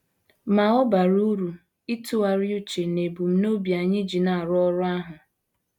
Ma, ọ bara uru ịtụgharị uche n’ebumnobi anyị ji na - arụ ọrụ ahụ.